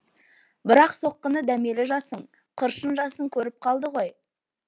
бірақ соққыны дәмелі жасың қыршын жасың көріп қалды ғой